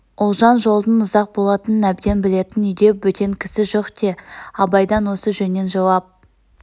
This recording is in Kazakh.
ұлжан жолдың ұзақ болатынын әбден білетін үйде бөтен кісі жоқ те абайдан осы жөннен жауап